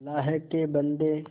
अल्लाह के बन्दे